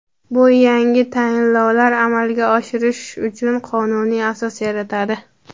Bu yangi tayinlovlar amalga oshirish uchun qonuniy asos yaratadi.